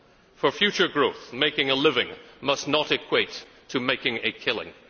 For future growth, making a living must not equate to making a killing.